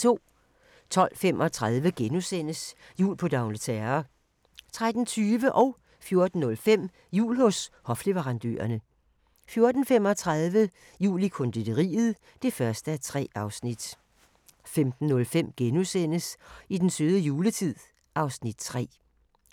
12:35: Jul på d'Angleterre * 13:20: Jul hos hofleverandørerne 14:05: Jul hos hofleverandørerne 14:35: Jul i konditoriet (1:3) 15:05: I den søde juletid (Afs. 3)*